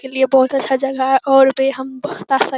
के लिए बहुत अच्छा जगह है और भी हम --